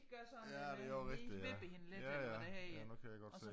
Ja det også rigtig ja ja ja ja nu kan jeg godt se